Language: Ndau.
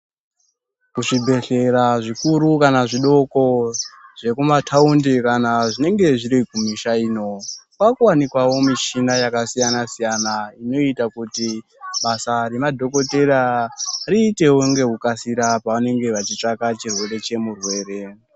Ku zvibhehlera zvikuru kana zvidoko zveku mataundi kana zvinenge zviri ku misha ino kwaku wanikwawo mishina yaka siyana siyana inoita kuti basa re madhokotera riitewo ngeku kasira pavanenge vachi tsvaka chirwere che murwere.